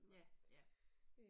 Ja. Ja